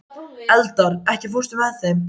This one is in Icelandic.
Eldar, ekki fórstu með þeim?